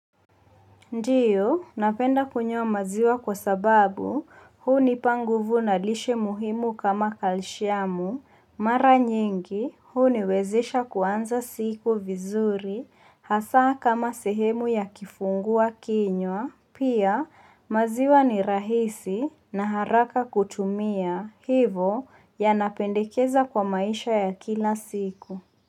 Ndiyo, napenda kunywa maziwa kwa sababu hunipa nguvu na lishe muhimu kama kalishiamu, mara nyingi huniwezesha kuanza siku vizuri hasaa kama sehemu ya kifungua kinywa, pia maziwa ni rahisi na haraka kutumia hivo yanapendekeza kwa maisha ya kila siku.